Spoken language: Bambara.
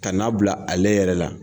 Ka n'a bila ale yɛrɛ la.